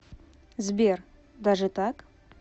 сбер даже так